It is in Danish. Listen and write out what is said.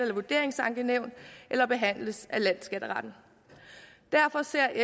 et vurderingsankenævn eller behandles af landsskatteretten derfor ser